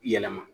Yɛlɛma